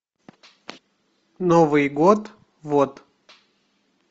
новый год вот